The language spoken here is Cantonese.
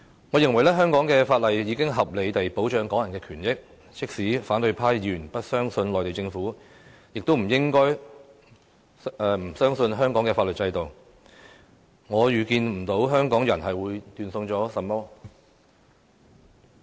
我認為香港法例已合理地保障港人的權益，即使反對派議員不相信內地政府，也不應該不相信香港的法律制度，我預見不到香港會斷送甚麼。